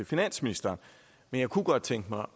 finansministeren men jeg kunne godt tænke mig